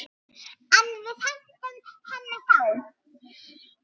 En við hentum henni þá.